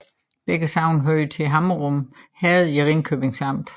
Begge sogne hørte til Hammerum Herred i Ringkøbing Amt